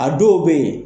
A dɔw bɛ yen